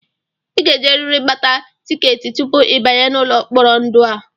I ga-ejerịrị gbata tikeetị tupu ị banye n'ụlọ mkpori ndụ a!